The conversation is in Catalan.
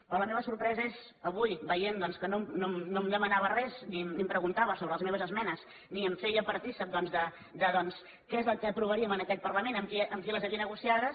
però la meva sorpresa és avui veient que no em demanava res ni em preguntava sobre les meves esmenes ni em feia partícip de què és el que aprovaríem en aquest parlament amb qui les havia negociades